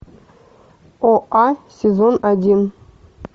оа сезон один